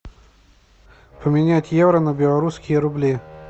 поменять евро на белорусские рубли